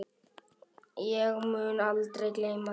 Ég mun aldrei gleyma þessu.